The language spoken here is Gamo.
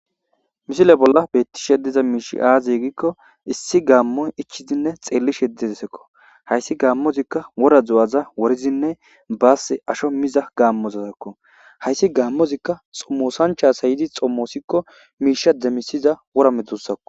Misile bolla beettishe diza miishi aazi gikko issi gaammoy ichizinne xeelli sheddedesekko hayssi gaammozikka wora zu7aza worizinne baass asho miza gaammozozakko hayssi gaammozikka xommosancha sayidi xommoosikko miisha demisiza wora metusako.